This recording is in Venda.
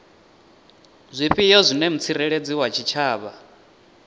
zwifhio zwine mutsireledzi wa tshitshavha